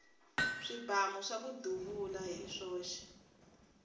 swibamu swaku duvula hi swoxe